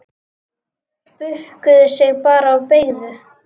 Bukkuðu sig bara og beygðu!